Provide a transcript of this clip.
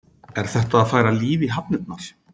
Er þetta að færa líf í hafnirnar?